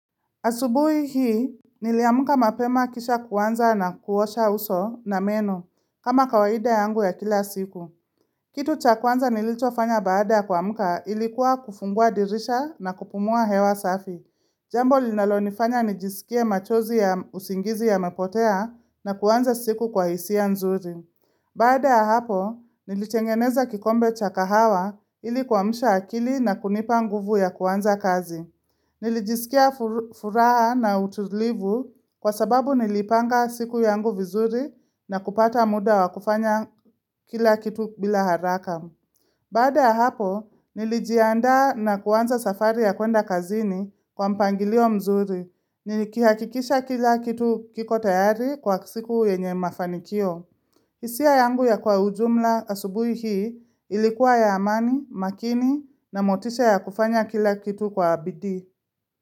Asubuhi hii, niliamka mapema kisha kuanza na kuosha uso na meno, kama kawaida yangu ya kila siku. Kitu cha kwanza nilichofanya baada ya kuamka ilikuwa kufungua dirisha na kupumua hewa safi. Jambo linalonifanya nijisikie machozi ya usingizi yamepotea na kuanza siku kwa hisia nzuri. Baada ya hapo, nilitengeneza kikombe cha kahawa ili kuamsha akili na kunipa nguvu ya kuanza kazi. Nilijisikia furaha na utulivu kwa sababu nilipanga siku yangu vizuri na kupata muda wa kufanya kila kitu bila haraka. Baada ya hapo, nilijianda na kuanza safari ya kuenda kazini kwa mpangilio mzuri. Nilikihakikisha kila kitu kiko tayari kwa siku yenye mafanikio. Hisia yangu ya kwa ujumla asubui hii ilikuwa ya amani, makini na motisha ya kufanya kila kitu kwa bidii.